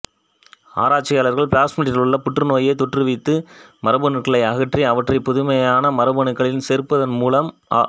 ஆராய்ச்சியாளர்கள் பிளாஸ்மிட்டிலுள்ள புற்றுநோயைத் தோற்றுவித்த மரபணுக்களை அகற்றி அவற்றை புதுமையான மரபணுக்களில் சேர்ப்பதன்மூலம் அ